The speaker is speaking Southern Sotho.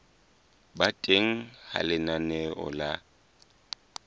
ba teng ha lenaneo la